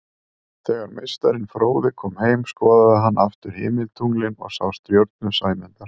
Þegar meistarinn fróði kom heim skoðaði hann aftur himintunglin og sá stjörnu Sæmundar.